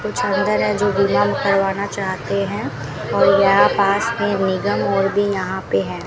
कुछ अंदर है जो करवाना चाहते हैं और यहां पास में निगम और भी यहां पे हैं।